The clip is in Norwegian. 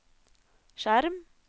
skjerm